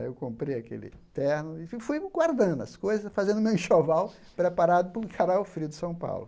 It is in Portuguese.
Aí eu comprei aquele terno e fui guardando as coisas, fazendo meu enxoval, preparado para o encarar o frio de São Paulo.